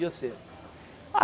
E você? Ah